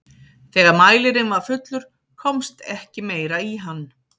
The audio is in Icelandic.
þegar mælirinn var fullur komst ekki meira í hann